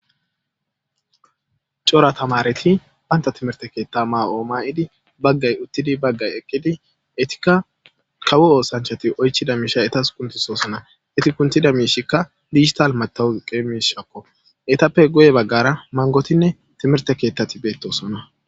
cora tamareti banta timirte keetta ma7oo ma7idi baggay uttidi baggay eqqidi etikka kawo oosanchati oychida miisha etas kuntisoosona eti kuntida miishikka digital matawuzuqe miishakko etappe goye baggara mangotinne timirte keettati beettosona